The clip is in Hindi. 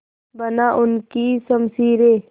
बना उनकी शमशीरें